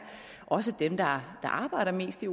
dem der arbejder mest i